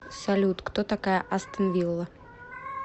салют кто такая астон вилла